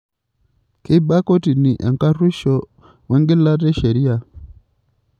Keiba kotini enkaruosho oo engilata e sheriaa.